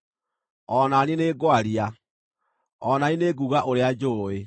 O na niĩ nĩngwaria; o na niĩ nĩnguuga ũrĩa njũũĩ.